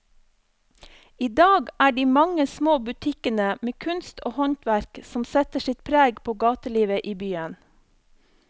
I dag er det de mange små butikkene med kunst og håndverk som setter sitt preg på gatelivet i byen.